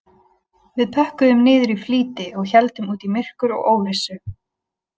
Við pökkuðum niður í flýti og héldum út í myrkur og óvissu